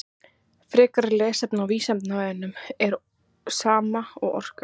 Frekara lesefni á Vísindavefnum: Er kraftur sama og orka?